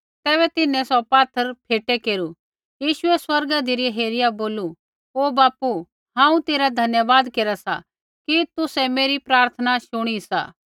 तैबै तिन्हैं सौ पात्थर फ़ेटै केरू यीशुऐ स्वर्गा धिरै हेरिया बोलू ओ बापू हांऊँ तेरा धन्यवाद केरा सा कि तुसै मेरी प्रार्थना शुणी सी